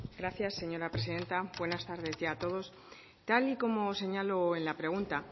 gracias señora presidenta buenas tardes ya a todos tal y como señalo en la pregunta